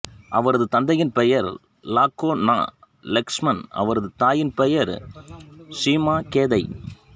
அவரது தந்தையின் பெயர் லாகேநா லக்ஷ்மன் அவரது தாயின் பெயர் ஷுமாகேதை